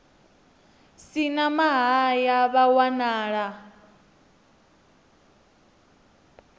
si na mahaya vha wanala